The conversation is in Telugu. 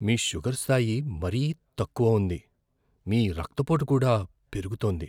మీ షుగర్ స్థాయి మరీ తక్కువ ఉంది, మీ రక్తపోటు కూడా పెరుగుతోంది.